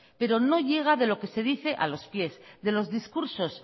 pero no llega de lo que se dice a los pies de los discursos